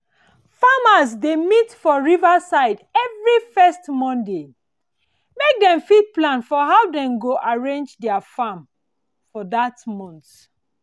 farmers dey meet for river side every first monday make dem fit plan for how dem go arrange their farm for that month